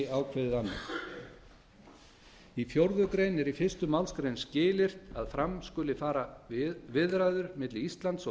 ákveði annað í fjórða grein er í fyrstu málsgrein skilyrt að fram skuli fara viðræður milli íslands og